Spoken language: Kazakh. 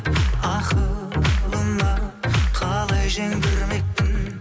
ақылыма қалай жеңдірмекпін